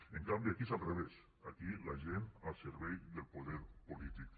en canvi aquí és al revés aquí la gent al servei del poder polític